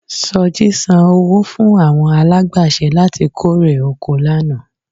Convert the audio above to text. Sọjí san owó fún àwọn alágbàṣe láti kórè oko rẹ lánàá